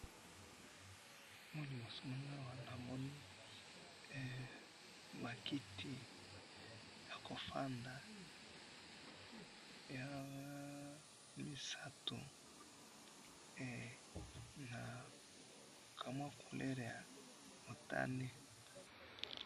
awa na liboso nangai awa namoni makiti ya kofanda ya lisatu, na couleur ya motane